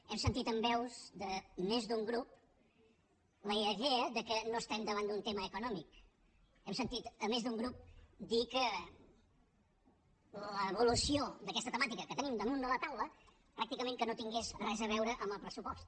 hem sentit en veus de més d’un grup la idea que no estem davant d’un tema econòmic hem sentit més d’un grup dir que l’evolució d’aquesta temàtica que tenim damunt de la taula pràcticament que no tenia res a veure amb el pressupost